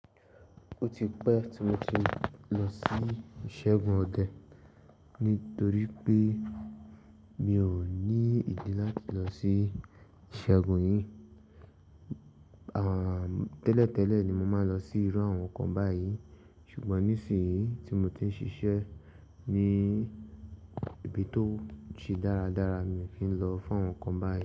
Ó ti pẹ́ tí mo ti lọ sí ìṣẹ́gun ọdẹ nítorí pé mi ò ní ìdí láti lọ sí ìṣẹ́gun yìí. Tẹ́lẹ̀ tẹ́lẹ̀ ni mo máa ń lọ sí irú àwọn nǹkan báyìí ṣùgbọ́n nísìí tí mo ti ń ṣiṣẹ́ ní ibi tí ó se dáradára mi ò fi lọ fún àwọn nǹkan báyìí.